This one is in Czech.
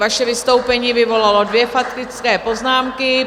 Vaše vystoupení vyvolalo dvě faktické poznámky.